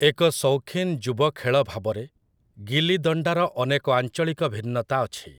ଏକ ସୌଖୀନ ଯୁବ ଖେଳ ଭାବରେ, ଗିଲିଦଣ୍ଡାର ଅନେକ ଆଞ୍ଚଳିକ ଭିନ୍ନତା ଅଛି ।